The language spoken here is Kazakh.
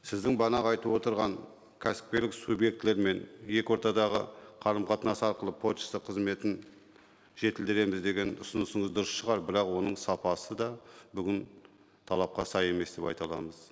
сіздің бағанағы айтып отырған кәсіпкерлік субъектілерімен екі ортадағы қарым қатынас арқылы пошта қызметін жетілдіреміз деген ұсынысыңыз дұрыс шығар бірақ оның сапасы да бүгін талапқа сай емес деп айта аламыз